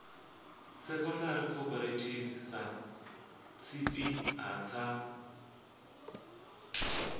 secondary cooperative sa tshipiḓa tsha